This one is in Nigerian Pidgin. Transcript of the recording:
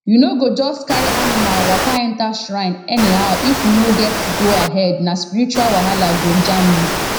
you no go just carry animal waka enter shrine anyhowif you no get goahead na spiritual wahala go jam you